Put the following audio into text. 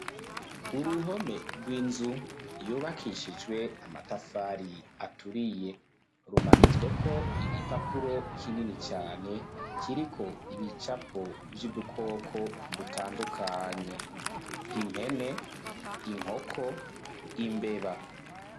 Uruhome rw'inzu yubakishijwe amatafari aturiye rumanitswe ko igipapuro kinini cane kiriko ibicapo vy'udukoko dutandukanye impene, inkoko, imbeba.